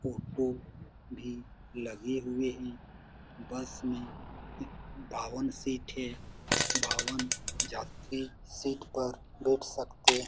Photo भी लगे हुए है बस मे वाहन सीट है वाहन यात्री सीट पर बैठ सकते है।